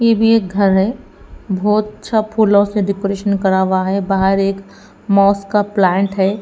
ये भी एक घर है बहोत अच्छा फूलों से डेकोरेशन करा हुआ है बाहर एक मौस का प्लांट है।